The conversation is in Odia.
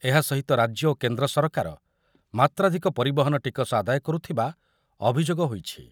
ଏହା ସହିତ ରାଜ୍ୟ ଓ କେନ୍ଦ୍ର ସରକାର ମାତ୍ରାଧିକ ପରିବହନ ଟିକସ ଆଦାୟ କରୁଥିବା ଅଭିଯୋଗ ହୋଇଛି।